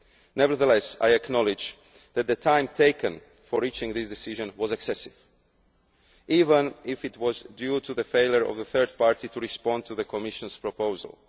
case. Nevertheless, I acknowledge that the time taken for reaching this decision was excessive, even if it was due to the failure of the third party to respond to the Commission's proposal.